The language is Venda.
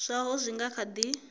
zwaho zwi nga kha di